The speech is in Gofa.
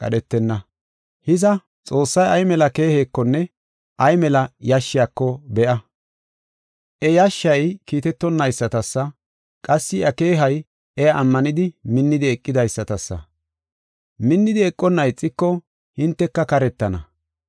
Hiza, Xoossay ay mela keehekonne ay mela yashshiyako be7a. I yashshey kiitetonayisata, qassi I keehey iya ammanidi minnidi eqidaysatasa. Minnidi eqonna ixiko hinteka karetana.